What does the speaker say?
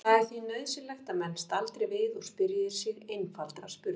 Það er því nauðsynlegt að menn staldri við og spyrji sig einfaldra spurninga